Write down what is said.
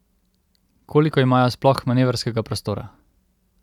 Koliko imajo sploh manevrskega prostora?